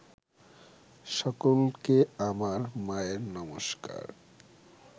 সকলকে আমার মায়ের নমস্কার